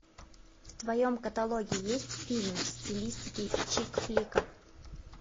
в твоем каталоге есть фильм в стилистике чик флика